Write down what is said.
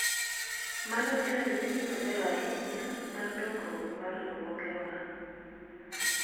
mano e ranyisi maber ahinya mar dongruok mar riwruoge wa